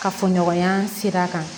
Kafoɲɔgɔnya sira kan